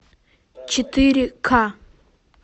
четыре к